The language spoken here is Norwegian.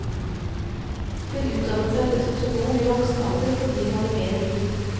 Hun utdannet seg til sosionom i voksen alder fordi hun hadde mer å gi.